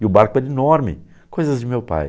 E o barco era enorme, coisas de meu pai.